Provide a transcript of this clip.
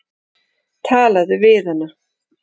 Talaðu við hana.